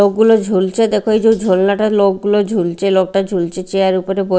লোকগুলো ঝুলছে দেখো ওই যে ঝোলনাটার লোকগুলো ঝুলছে লোকটা ঝুলছে চেয়ার উপরে বো--